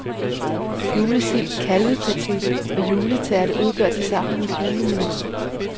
Julesild, kalvepaté og juletærte udgør tilsammen hendes julemenu.